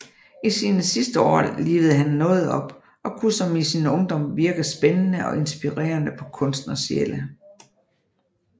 I sine sidste år livede han noget op og kunne som i sin ungdom virke spændende og inspirerende på kunstnersjæle